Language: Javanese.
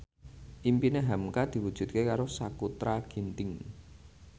impine hamka diwujudke karo Sakutra Ginting